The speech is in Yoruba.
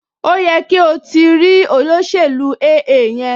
Ó yẹ kí o ti o ti rí olóṣèlú AA yẹn